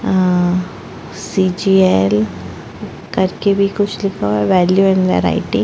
अ C G L करके भी कुछ लिखा हुआ है वेल्यू एंड वैरायटी --